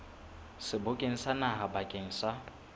sebokeng sa naha bakeng sa